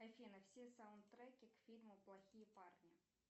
афина все саундтреки к фильму плохие парни